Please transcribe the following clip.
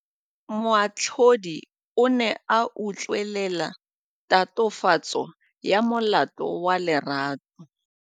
Moatlhodi o ne a utlwelela tatofatsô ya molato wa Lerato.